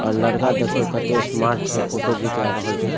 और लड़का देखियो कते स्मार्ट छै फोटो घिंचा रहल छै।